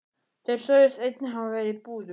Þeir sögðust einnig hafa verið í búðum.